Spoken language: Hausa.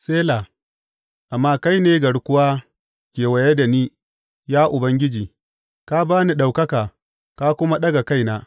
Sela Amma kai ne garkuwa kewaye da ni, ya Ubangiji; ka ba ni ɗaukaka ka kuma ɗaga kaina.